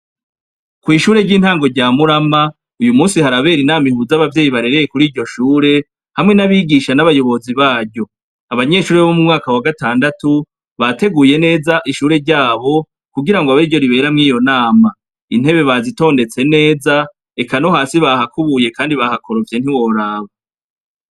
Kw'ishure ry'intango rya murama uyu musi harabera inama ihuza abavyeyi barereye kuri iryo shure hamwe n'abigisha, n'abayobozi baryo, abanyeshuri bo mu mwaka wa gatandatu bateguye neza ishure ryabo kugira ngo abe ryo riberamwo iyo nama, intebe bazitondetse neza eka no hasi bahakubuye kandi bahakorovye ntiworaba.